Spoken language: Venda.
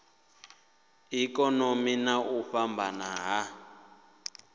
ikonomi na u fhambana ha